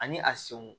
Ani a senw